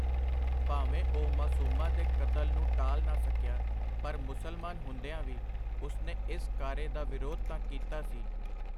ਭਾਵੇਂ ਉਹ ਮਾਸੂਮਾਂ ਦੇ ਕਤਲ ਨੂੰ ਟਾਲ ਨਾ ਸਕਿਆ, ਪਰ ਮੁਸਲਮਾਨ ਹੁੰਦਿਆਂ ਵੀ ਉਸਨੇ ਇਸ ਕਾਰੇ ਦਾ ਵਿਰੋਧ ਤਾਂ ਕੀਤਾ ਸੀ.